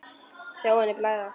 Sjá henni blæða.